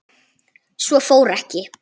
Svo fór ekki.